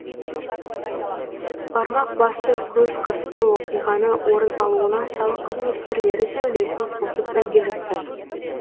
бармақ басты көз қысты оқиғаның орын алуына салық қызметкерлері де үлесін қосып үлгеріпті